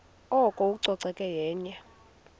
oko ucoceko yenye